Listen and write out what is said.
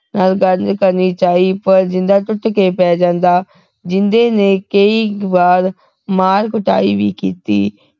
ਨਾਲ ਗੱਲ ਕਰਨੀ ਚਾਹੀ ਪਰ ਜਿੰਦਾ ਟੁੱਟ ਕੇ ਪੈ ਜਾਂਦਾ ਜਿੰਦੇ ਨੇ ਕਈ ਵਾਰ ਮਾਰ ਕੁਟਾਈ ਵੀ ਕੀਤੀ